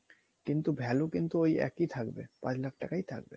কিন্তু value কিন্তু ওই একই থাকবে পাঁচ লাখ টাকাই থাকবে